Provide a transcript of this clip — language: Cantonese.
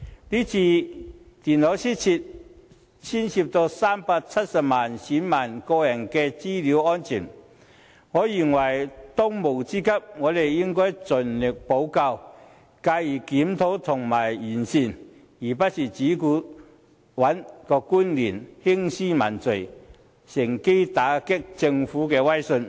這次電腦失竊涉及370萬名選民的個人資料安全，我認為當務之急是盡力補救，繼而檢討和完善，而不是只顧找官員興師問罪，趁機打擊政府的威信。